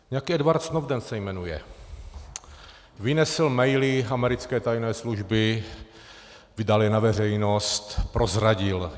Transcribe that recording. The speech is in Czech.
Nějaký Edward Snowden - se jmenuje - vynesl maily americké tajné služby, vydal je na veřejnost, prozradil.